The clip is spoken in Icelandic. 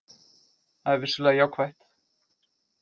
Það er vissulega jákvætt